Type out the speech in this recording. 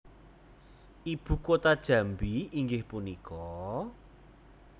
Ibu kota Jambi inggih punika?